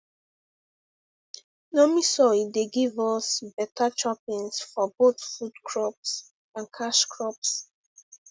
loamy soil dey give dey give us beta choppins for both food crops and cash crops